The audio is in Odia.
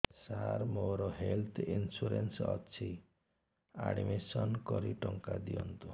ସାର ମୋର ହେଲ୍ଥ ଇନ୍ସୁରେନ୍ସ ଅଛି ଆଡ୍ମିଶନ କରି ଟଙ୍କା ଦିଅନ୍ତୁ